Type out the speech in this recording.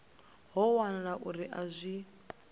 ho wanala uri a zwi